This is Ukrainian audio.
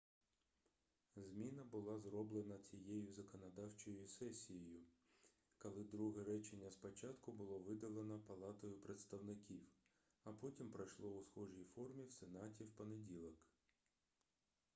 зміна була зроблена цією законодавчою сесією коли друге речення спочатку було видалено палатою представників а потім пройшло у схожій формі в сенаті в понеділок